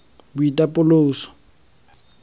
boitapoloso